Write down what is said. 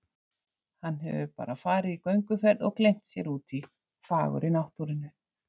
Hann hefur bara farið í gönguferð og gleymt sér úti í fagurri náttúrunni